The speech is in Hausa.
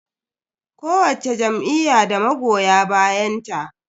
Kowacce jam'iyya da magoya bayanta.